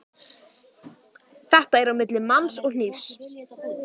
Þetta er á milli manns og hnífs.